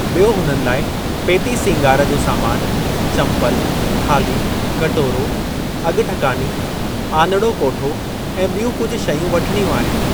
बि॒यो हुननि लाइ पेती सींगार जो सामान, चंपलु, थाल्ही, कटोरो, अग॒ठकानी, आनड़ो कोठो ऐं बि॒यूं कुझु शयूं वठणियूं आहिनि।